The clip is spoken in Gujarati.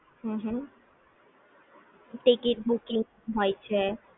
હ હ ટિકિટ બૂકિંગ હોય છે